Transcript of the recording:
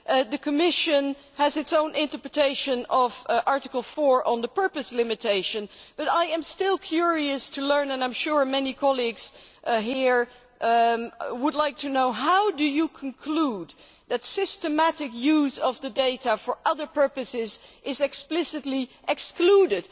The Commission has its own interpretation of Article 4 on the purpose limitation, but I am still curious to find out and I am sure many colleagues here would like to know how you conclude that systematic use of the data for other purposes is explicitly excluded.